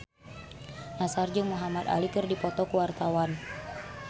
Nassar jeung Muhamad Ali keur dipoto ku wartawan